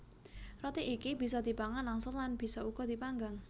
Roti iki bisa dipangan langsung lan bisa uga dipanggang